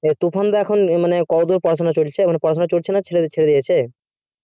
তুফান দা এখন কতদূর পড়াশোনা চলছে এখন পড়াশোনা চলছে না ছেড়ে দিয়েছে